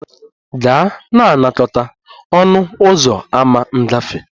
Gaa na-anakọta a ọnụ ụzọ ámá ngafe!